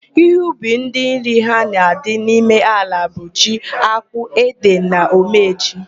Ihe ubi ndị nri ha na-adị n'ime ala bụ: ji, ákpụ́, édè na omeji.